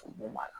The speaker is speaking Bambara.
O b'a la